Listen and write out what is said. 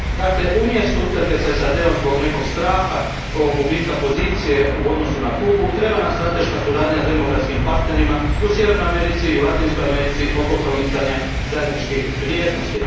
Dakle, umjesto utrke s SAD om zbog nekog straha oko gubitka pozicije u odnosu na Kubu, treba nam strateška suradnja s demokratskim partnerima u Sjevernoj i Latinskoj Americi oko promicanja zajedničkih vrijednosti.